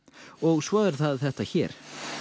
og svo er það þetta hér